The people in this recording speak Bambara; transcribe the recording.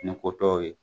Ni ko tɔw ye